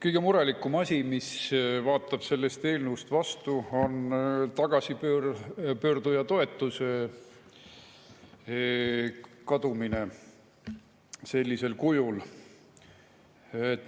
Kõige murettegevam asi, mis vaatab sellest eelnõust vastu, on tagasipöörduja toetuse kadumine sellisel kujul.